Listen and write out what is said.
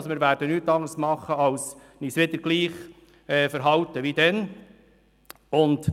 Wir werden nichts anderes tun, als uns wieder gleich zu verhalten wie damals.